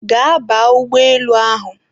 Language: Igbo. Gaa baa ụgbọelu ahụ!